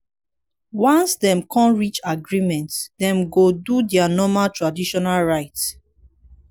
once dem con reach agreement dem go do dia normal traditional rites